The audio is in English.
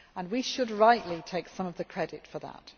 We should rightly take some of the credit for that.